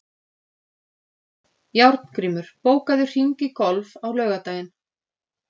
Járngrímur, bókaðu hring í golf á laugardaginn.